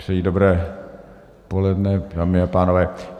Přeji dobré poledne, dámy a pánové.